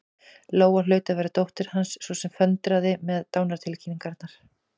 Lóa hlaut að vera dóttir Hans, sú sem föndraði með dánartilkynningar.